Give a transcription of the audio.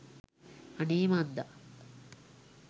අනේ මන්දා